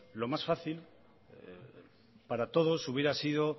lo más fácil para todos hubiera sido